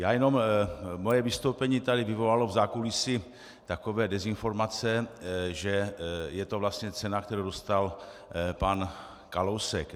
Já jen, moje vystoupení tady vyvolalo v zákulisí takové dezinformace, že je to vlastně cena, kterou dostal pan Kalousek.